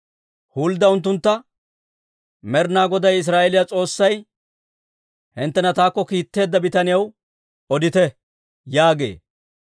Huldda unttuntta, «Med'inaa Goday Israa'eeliyaa S'oossay, ‹Hinttena taakko kiitteedda bitaniyaw odite› yaagee.